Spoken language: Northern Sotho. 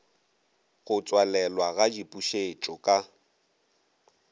go tswalelwa ga dipušetšo ka